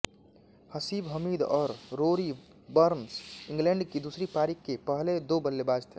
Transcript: हसीब हमीद और Rory Burns England की दूसरी पारी के पहले दो बल्लेबाज़ थे